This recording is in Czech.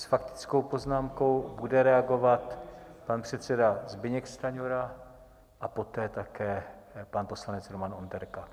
S faktickou poznámkou bude reagovat pan předseda Zbyněk Stanjura a poté také pan poslanec Roman Onderka.